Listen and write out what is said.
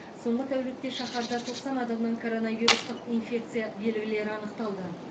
соңғы тәулікте шаһарда тоқсан адамнан коронавирустық инфекция белгілері анықталды